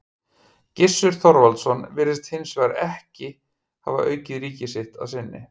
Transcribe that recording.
Gissur Þorvaldsson virðist hins vegar ekki hafa aukið ríki sitt að sinni.